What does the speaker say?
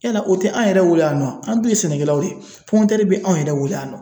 Yala o tɛ an yɛrɛ bolo yan nɔ a, an dun ye sɛnɛkɛlaw ye be anw yɛrɛ bolo yan nɔ.